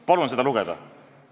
Palun seda lugeda.